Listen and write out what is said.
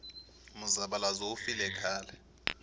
muzavalazo wu file khale